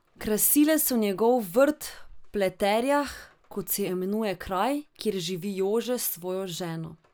Krasile so njegov vrt v Pleterjah, kot se imenuje kraj, kjer živi Jože s svojo ženo.